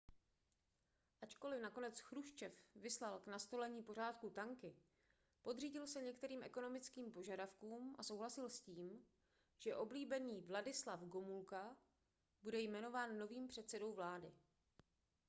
ačkoliv nakonec chruščev vyslal k nastolení pořádku tanky podřídil se některým ekonomickým požadavkům a souhlasil s tím že oblíbený wladyslaw gomulka bude jmenován novým předsedou vlády